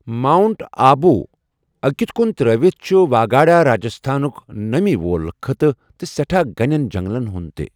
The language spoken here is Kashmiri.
ماونٹ آبوٗ اكِت كُن تر٘ٲوِتھ چُھ واگاڈ راجستھانُك نمی وول خطہٕ تہٕ سیٹھاہ گٕنین جنگلن ہُند تہِ ۔